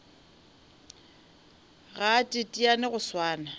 ga a teteane go swana